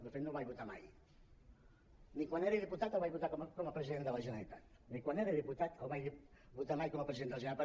de fet no el vaig votar mai ni quan era diputat el vaig votar com a president de la generalitat ni quan era diputat el vaig votar mai com a president de la generalitat